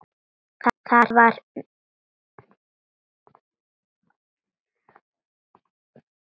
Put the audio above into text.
Var það mikið hús.